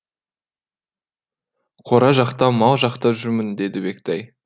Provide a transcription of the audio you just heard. қора жақта мал жақта жүрмін деді бектай